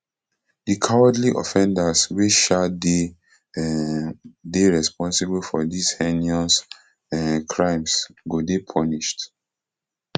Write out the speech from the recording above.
di cowardly offenders wey um dey um dey responsible for dis heinous um crimes go dey punished